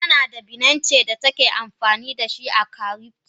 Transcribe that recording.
Tanada binance datake amfanidashi a cryptor.